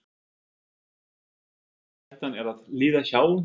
Þóra: Þannig að hættan er að líða hjá?